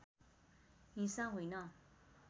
हिंसा होइन